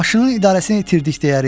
Maşının idarəsini itirdik deyərik.